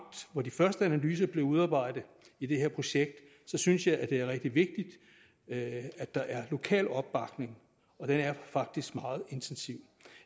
hvor de første analyser blev udarbejdet i det her projekt så synes jeg at det er rigtig vigtigt at der er lokal opbakning og den er faktisk meget intensiv